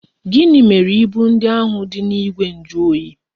Gịnị mere ibu ndị ahụ dị n'igwe njuoyi?